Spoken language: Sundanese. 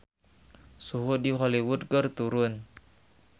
Suhu di Hollywood keur turun